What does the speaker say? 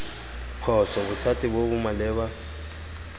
phoso bothati bo bo maleba